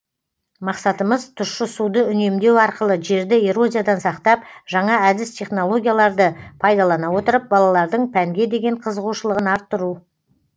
мақсатымыз тұщы суды үнемдеу арқылы жерді эрозиядан сақтап жаңа әдіс технологияларды пайдалана отырып балалардың пәнге деген қызығушылығын арттыру